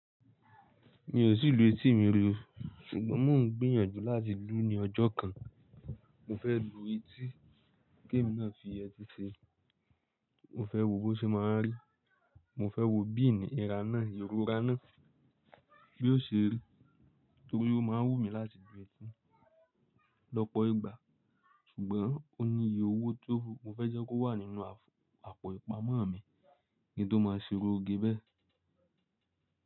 Mi ò tí lu etí mi rí o, ṣùgbọ́n mò ń gbìyànjú láti lú ní ọjọ́ kan. Mo fẹ́ lu etí kí èmi náà fi ẹtí ṣe. Mo fẹ́ wo bó ṣe máa rí, mo fẹ́ wo bí ìníra náà, ìrora náà yóò ṣe rí, torí ó máa n wúmi láti lu etí lọ́pọ̀ ìgbà. Ṣùgbọ́n ó ní iye owó tó wu, mo fẹ́ jẹ́ kó wà nínú àpò ìpamọ́ mi, ki n tó máa ṣe irú ogé bẹ́ẹ̀.